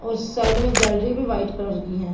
अ उस साइड में गैलरी भी वाइट कलर की है।